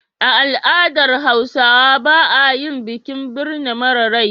A al'adar Hausawa ba a yin bikin birma mara rai.